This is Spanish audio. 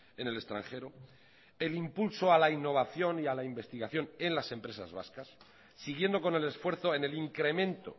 en el extranjero el impulso a la innovación y a la investigación en las empresas vascas siguiendo con el esfuerzo en el incremento